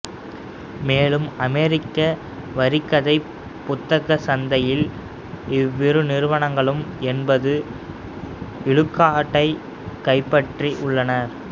மேலும்அமெரிக்க வரிக்கதை புத்தகச் சந்தையில் இவ்விரு நிறுவனங்களும் எண்பது விழுக்காட்டைக் கைப்பற்றி உள்ளனர்